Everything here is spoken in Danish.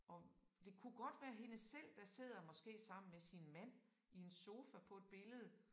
Og det kunne godt være hende selv der sidder måske sammen med sin mand i en sofa på et billede